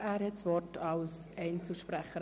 Er hat das Wort als Einzelsprecher.